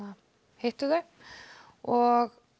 hitti þau og